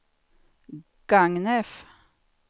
Gagnef